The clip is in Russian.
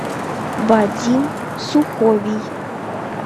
вадим суховий